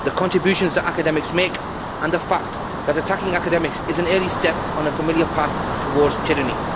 The contributions that academics make and the fact that attacking academics is an early step on a familiar path towards tyranny.